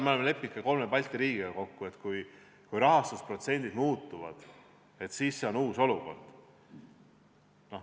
Me oleme ka kolme Balti riigiga kokku leppinud, et kui rahastusprotsent muutub, siis on tegemist uue olukorraga.